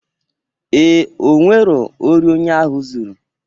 Ee,o nwero ori onye ahụ zuru